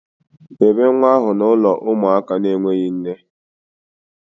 Debe nwa ahụ na ụlọ ụmụaka enweghị nne